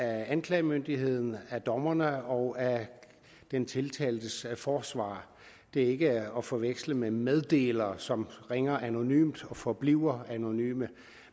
anklagemyndigheden af dommerne og af den tiltaltes forsvarer de er ikke at forveksle med meddelere som ringer anonymt og forbliver anonyme